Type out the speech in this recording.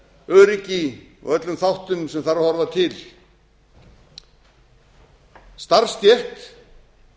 öryggi og öllum þáttum sem þarf að horfa til starfsstétt